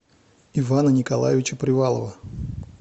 ивана николаевича привалова